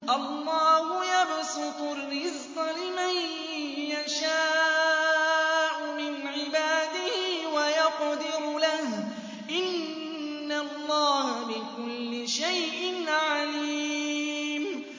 اللَّهُ يَبْسُطُ الرِّزْقَ لِمَن يَشَاءُ مِنْ عِبَادِهِ وَيَقْدِرُ لَهُ ۚ إِنَّ اللَّهَ بِكُلِّ شَيْءٍ عَلِيمٌ